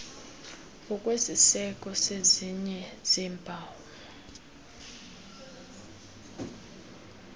ngokwesiseko sezinye zeempawu